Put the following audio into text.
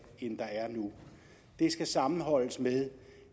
end der er nu det skal sammenholdes med